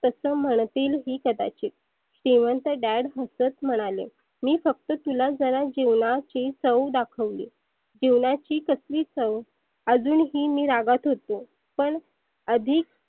तस म्हणतील ही कदाचीत श्रिमंत Dad हसत म्हणाले. मी फक्त तुला जिवनाची जरा चव दाखवली. जिवनाची कसली चव? आजुनही मी रागात होतो. पण आधीक